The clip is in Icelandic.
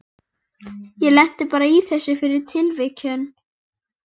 Íslands heldur áfram, margþættara, ennþá frjórra.